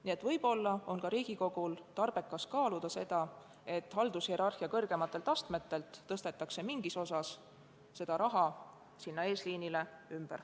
Nii et võib-olla on Riigikogul otstarbekas kaaluda ka seda, et haldushierarhia kõrgematelt astmetelt tõstetakse osa rahast ümber eesliinile.